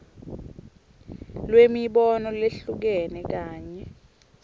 lwemibono lehlukene kanye